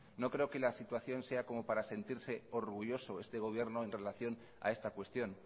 no creo que la situación sea como para sentirse orgulloso este gobierno en relación a esta cuestión